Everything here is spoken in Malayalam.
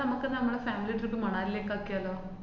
നമക്ക് നമ്മടെ family trip മണാലീലേക്ക് ആക്കിയാലോ?